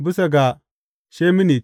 Bisa ga sheminit.